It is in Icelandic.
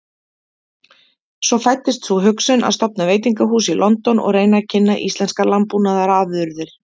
Svo fæddist sú hugsun að stofna veitingahús í London og reyna að kynna íslenskar landbúnaðarafurðir.